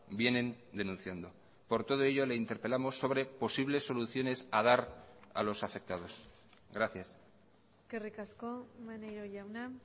vienen denunciando por todo ello le interpelamos sobre posibles soluciones a dar a los afectados gracias eskerrik asko maneiro jauna